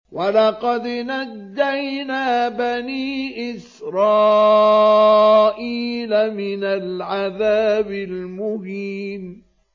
وَلَقَدْ نَجَّيْنَا بَنِي إِسْرَائِيلَ مِنَ الْعَذَابِ الْمُهِينِ